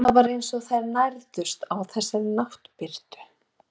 Það var eins og þær nærðust á þessari náttbirtu.